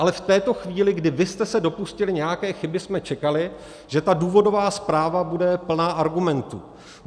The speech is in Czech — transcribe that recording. Ale v této chvíli, kdy vy jste se dopustili nějaké chyby, jsme čekali, že ta důvodová zpráva bude plná argumentů.